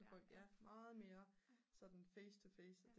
ja meget mere sådan face to face